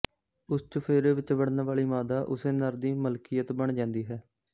ਉਸ ਚੁਫੇਰੇ ਵਿੱਚ ਵੜਨ ਵਾਲੀ ਮਾਦਾ ਉਸੇ ਨਰ ਦੀ ਮਲਕੀਅਤ ਬਣ ਜਾਂਦੀ ਹੈ